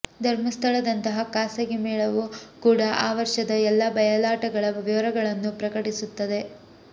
ಧರ್ಮಸ್ಥಳದಂತಹ ಖಾಸಗಿ ಮೇಳವೂ ಕೂಡ ಆ ವರ್ಷದ ಎಲ್ಲಾ ಬಯಲಾಟಗಳ ವಿವರಗಳನ್ನು ಪ್ರಕಟಿಸುತ್ತದೆ